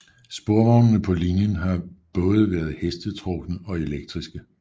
Sporvognene på linjen har både været hestetrukne og elektriske